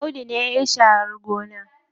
Audu ne yayi sharar gona.